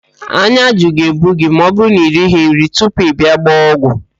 Ányá ajụ ga-ebu gị ma ọbụrụ na irighi nri tupu ị bịa ịgba ọgwụ